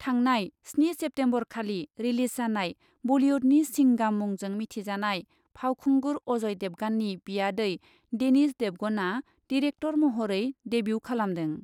थांनाय स्नि सेप्तेम्बरखालि रिलीज जानाय बलिउडनि सिंगाम मुंजों मिथिजानाय फावखुंगुर अजय देबगाननि बियादै देनिश देबगानआ डिरेक्टर महरै डेब्यु खालामदों।